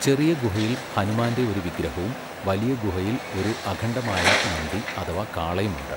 ചെറിയ ഗുഹയിൽ ഹനുമാന്റെ ഒരു വിഗ്രഹവും വലിയ ഗുഹയിൽ ഒരു അഖണ്ഡമായ നന്ദി അഥവാ കാളയും ഉണ്ട്.